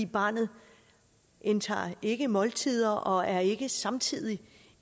barnet indtager ikke måltider og er ikke samtidig